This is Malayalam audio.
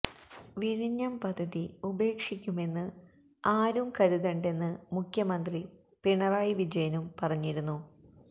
വിഴിഞ്ഞം പദ്ധതി ഉപേക്ഷിക്കുമെന്ന് ആരും കരുതണ്ടെന്ന് മുഖ്യമന്ത്രി പിണറായി വിജയനും പറഞ്ഞിരുന്നു